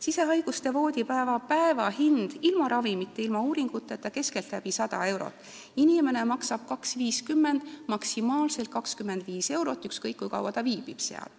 Sisehaiguste voodipäeva päevahind ilma ravimite ja uuringuteta on keskeltläbi 100 eurot, inimene maksab 2.50, maksimaalselt 25 eurot, ükskõik kui kaua ta ravil viibib.